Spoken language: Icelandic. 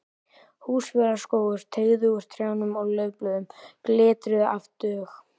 Húsafellsskógur teygði úr trjánum og laufblöðin glitruðu af dögg.